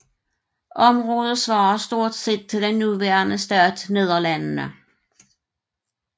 Området svarer stort set til den nuværende stat Nederlandene